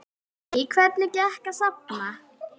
Lillý: Hvernig gekk að safna?